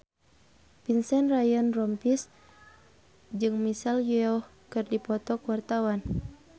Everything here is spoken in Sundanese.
Vincent Ryan Rompies jeung Michelle Yeoh keur dipoto ku wartawan